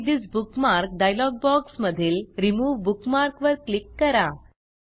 edit this bookmark dialog box मधील remove bookmark वर click करा